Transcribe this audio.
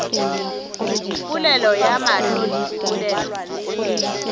polelo ya mahlo le polelo